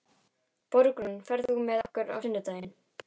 Borgrún, ferð þú með okkur á sunnudaginn?